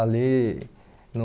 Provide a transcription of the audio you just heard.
Ali no...